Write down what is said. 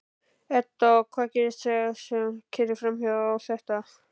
Edda: Og hvað gerist þar sem að keyrir þetta áfram?